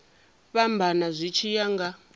fhambana zwi tshi ya nga